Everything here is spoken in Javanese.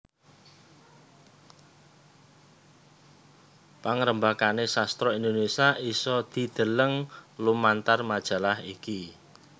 Pangrembakane sastra Indonesia isa didheleng lumantar majalah iki